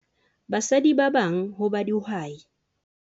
Basadi ba bang ho ba dihwai.